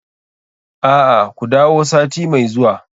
A'a, ku dawo sati mai zuwa.